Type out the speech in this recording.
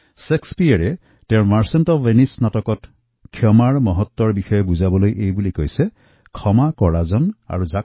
শ্বেক্সপীয়েৰে তেওঁৰ নাটক the merchant of ভেনিচত ক্ষমাৰ মহত্বক বৰ্ণনা কৰিবলৈ হৈ লিখেছে mercy is twice blest it blesseth him that gives and him that techs